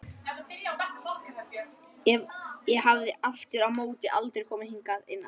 Ég hafði aftur á móti aldrei komið hingað inn áður.